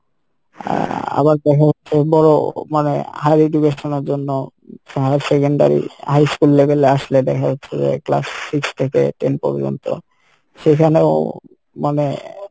আহ আবার দেখা যাচ্ছে বড় মানে higher education এর জন্য higher secondary, high school level এ আসলে দেখা যাচ্ছে যে class six থেকে ten পর্যন্ত সেখানেও মানে